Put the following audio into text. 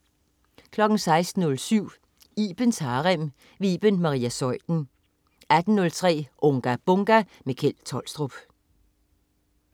16.07 Ibens Harem. Iben Maria Zeuthen 18.03 Unga Bunga! Kjeld Tolstrup